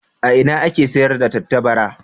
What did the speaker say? A ina ake sayar da tattabara?